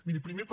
miri primer per